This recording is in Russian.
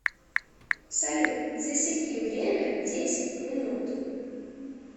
салют засеки время десять минут